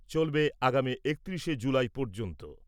চলবে আগামী একত্রিশে জুলাই পর্যন্ত।